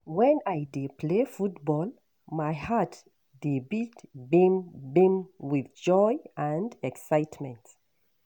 Wen I dey play football, my heart dey beat gbim gbim with joy and excitement.